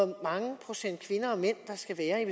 hvor mange procent kvinder og mænd der skal være i